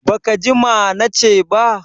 Baka ji ma na ce ba?